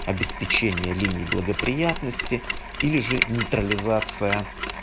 обеспечение линии благоприятности или же нейтрализация